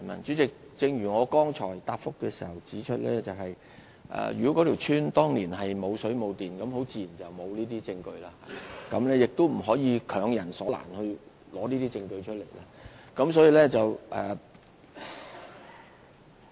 主席，正如我剛才的答覆所指出，如果一條村落當年並無水電供應，自然沒有這些證據，也不能強人所難，要求對方提交這些證據。